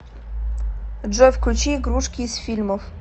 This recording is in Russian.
джой включи игрушки из фильмов